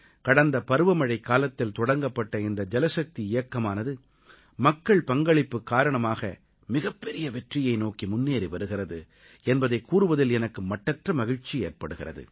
கடந்த பருவமழைக் காலத்தில் தொடங்கப்பட்ட இந்த ஜலசக்தி இயக்கமானது மக்கள் பங்களிப்பு காரணமாக மிகப்பெரிய வெற்றியை நோக்கி முன்னேறி வருகிறது என்பதைக் கூறுவதில் எனக்கு மட்டற்ற மகிழ்ச்சி ஏற்படுகிறது